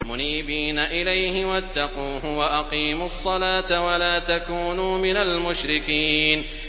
۞ مُنِيبِينَ إِلَيْهِ وَاتَّقُوهُ وَأَقِيمُوا الصَّلَاةَ وَلَا تَكُونُوا مِنَ الْمُشْرِكِينَ